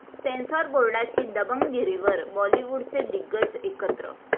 censor बोर्डाची दबंगगिरीवर बॉलिवूडचे दिग्गज एकत्र